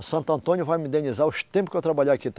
Santo Antônio vai me indenizar os tempo que eu trabalhar aqui